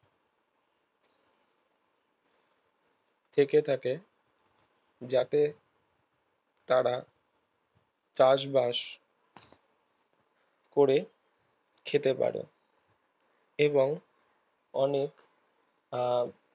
থেকে থাকে যাতে তারা চাষবাস করে খেতে পারে এবং অনেক আর